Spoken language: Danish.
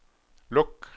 luk